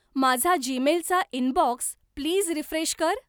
माझा जीमेलचा inbox please refresh कर.